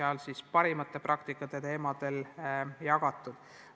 Ja parimate praktikate teemadel on seal siis arutatud.